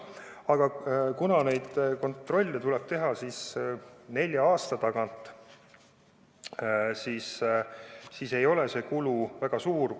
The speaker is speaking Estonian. Aga kuna neid kontrolle tuleb teha nelja aasta tagant, siis ei ole see kulu väga suur.